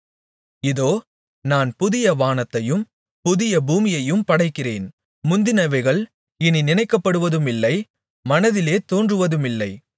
இதோ நான் புதிய வானத்தையும் புதிய பூமியையும் படைக்கிறேன் முந்தினவைகள் இனி நினைக்கப்படுவதுமில்லை மனதிலே தோன்றுவதுமில்லை